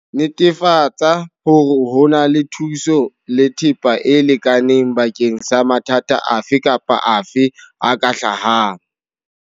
Netefatsa hore ho na le thuso le thepa e lekaneng bakeng sa mathata afe kapa afe a ka hlahang.